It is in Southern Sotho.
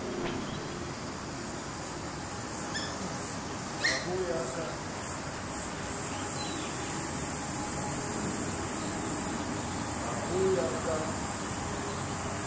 c ha ho ya ka